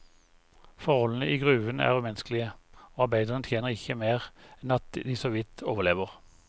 Forholdene i gruven er umenneskelige, og arbeiderne tjener ikke mer enn at de såvidt overlever.